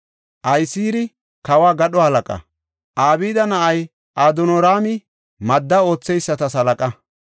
Ahisaari kawo gadho halaqa; Abda na7ay Adonraami madda ootheyisata halaqa.